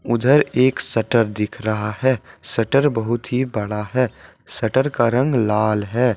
उधर एक शटर दिख रहा है शटर बहुत ही बड़ा है शटर का रंग लाल है।